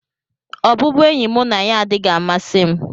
Ọbụbụenyi mụ na ya adịghị amasị m.